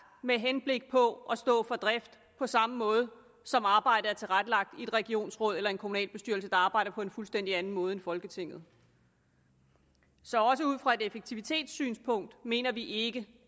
med henblik på at stå for drift på samme måde som arbejdet er tilrettelagt i et regionsråd eller en kommunalbestyrelse der arbejder på en fuldstændig anden måde end folketinget så også ud fra et effektivitetssynspunkt mener vi ikke